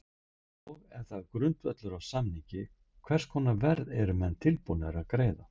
Og ef það er grundvöllur á samningi hvers konar verð eru menn tilbúnir að greiða?